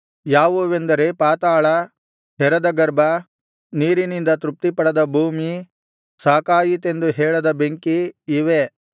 ಯಾವುವೆಂದರೆ ಪಾತಾಳ ಹೆರದ ಗರ್ಭ ನೀರಿನಿಂದ ತೃಪ್ತಿಪಡದ ಭೂಮಿ ಸಾಕಾಯಿತೆಂದು ಹೇಳದ ಬೆಂಕಿ ಇವೇ